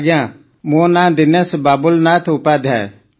ଆଜ୍ଞା ମୋ ନାଁ ଦିନେଶ ବାବୁଲନାଥ ଉପାଧ୍ୟାୟ